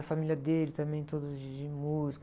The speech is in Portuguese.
A família dele também, todos de músico.